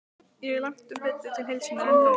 Ég er langtum betri til heilsunnar en þú.